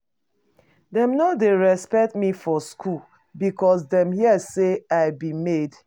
Dem no dey respect me for skool because dem hear sey I be maid.